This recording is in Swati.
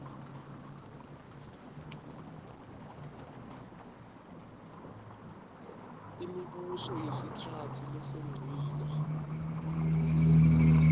imibuso yesikhatsi lesengcile